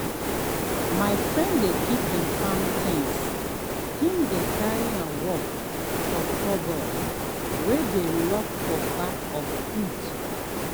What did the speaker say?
my friend dey keep him farm things him dey carry work for cupboard way dey lock for back of hut.